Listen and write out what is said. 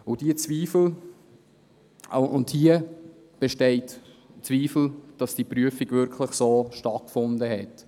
Es bestehen Zweifel daran, dass diese Prüfung wirklich so stattgefunden hat.